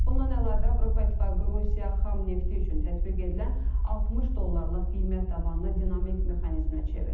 Bundan əlavə, Avropa İttifaqı Rusiya xam nefti üçün tətbiq edilən 60 dollarlıq qiymət tavanını dinamik mexanizmə çevirir.